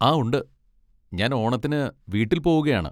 ആ ഉണ്ട്, ഞാൻ ഓണത്തിന് വീട്ടിൽ പോവുകയാണ്.